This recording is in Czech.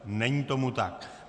Není tomu tak.